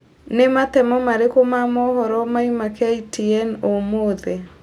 nĩ matemo marĩkũ ma mohoro mauma k.t.n ũmũthi